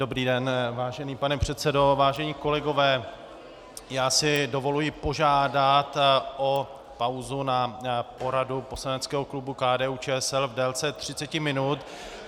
Dobrý den, vážený pane předsedo, vážení kolegové, já si dovoluji požádat o pauzu na poradu poslaneckého klubu KDU-ČSL v délce 30 minut.